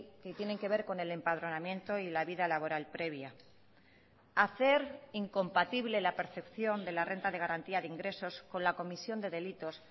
que tienen que ver con el empadronamiento y la vida laboral previa hacer incompatible la percepción de la renta de garantía de ingresos con la comisión de delitos